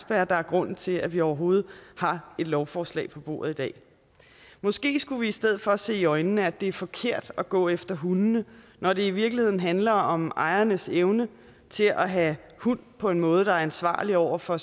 der er grunden til at vi overhovedet har et lovforslag på bordet i dag måske skulle vi i stedet for se i øjnene at det er forkert at gå efter hundene når det i virkeligheden handler om ejernes evne til at have hund på en måde der er ansvarlig over for